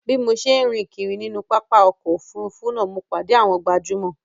Bí mo ṣe ń rìn kiri nínú pápá ọkọ̀ Òfurufú náà mo pàdé àwọn gbajúmò